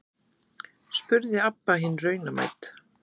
spurði Abba hin raunamædd.